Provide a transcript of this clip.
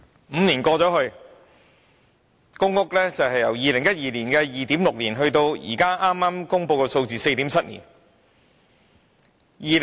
五年過去，公屋輪候時間由2012年的 2.6 年，延長至現在剛公布的 4.7 年。